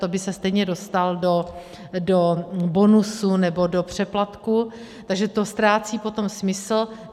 To by se stejně dostal do bonusu, nebo do přeplatku, takže to ztrácí potom smysl.